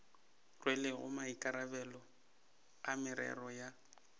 rwelego maikarabelo a merero ya